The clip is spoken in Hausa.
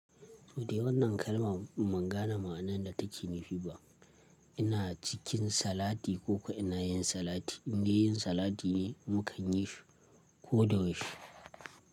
To dai wannan kalma mun gane ma'anan da take nufi ba. Ina cikin salati ko ina yin salati, in dai yin salati ne mu kan yi shi ko da yau she.